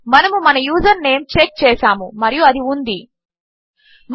మన ఫీల్డ్స్ ఉన్నాయని మనము చెక్ చేసాము కాబట్టి దయచేసి మీ యూజర్ నేం మరియు పాస్వర్డ్ ఎంటర్ చేయండి